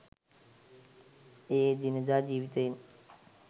එය එදිනෙදා ජීවිතයෙන්